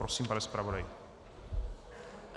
Prosím, pane zpravodaji.